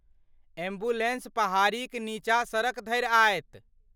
Ambulance पहाड़ीक नीचाँ सड़क धरि आयत।